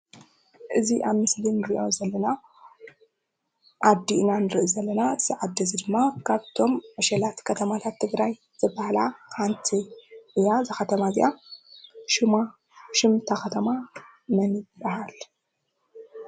እዚ ኣብቲ ምስሊ እንሪኦ ዘለና ዓዲ ኢና ንርኢ ዘለና ኣብዚ ዓዲ እዚ ድማ ካብቶም ዕሸላት ከተማታት ትግራይ ዝበሃላ ሓንቲ እያ፡፡ እዛ ከተማ እዚኣ ሽም እታ ከተማ መን ይባሃል?